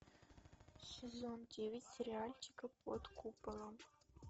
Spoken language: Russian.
сезон девять сериальчика под куполом